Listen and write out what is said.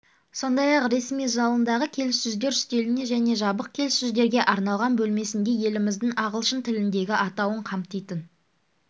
сондай-ақ ресми залындағы келіссөздер үстелінде және жабық келіссөздерге арналған бөлмесінде еліміздің ағылшын тіліндегі атауын қамтитын